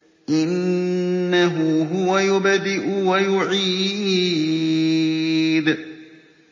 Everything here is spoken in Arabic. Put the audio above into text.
إِنَّهُ هُوَ يُبْدِئُ وَيُعِيدُ